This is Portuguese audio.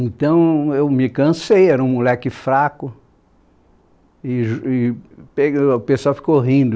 Então eu me cansei, era um moleque fraco, e j e pe o pessoal ficou rindo.